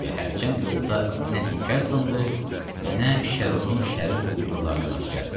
Və hərçənd yolda nə təkər sındı, və nə Şərrurun şərir quldurlarına rast gəldik.